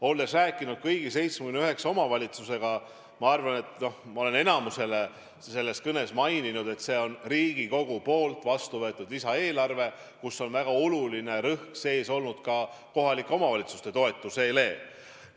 Olen rääkinud kõigi 79 omavalitsusega ja neile kinnitanud, et Riigikogus vastu võetud lisaeelarves on väga suur rõhk kohalike omavalitsuste toetusele.